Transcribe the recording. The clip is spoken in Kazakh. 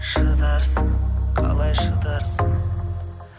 шыдарсың қалай шыдарсың